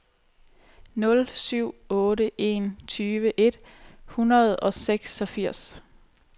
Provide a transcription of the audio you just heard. nul syv otte en tyve et hundrede og seksogfirs